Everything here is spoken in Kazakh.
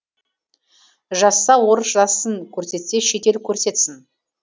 жазса орыс жазсын көрсетсе шет ел көрсетсін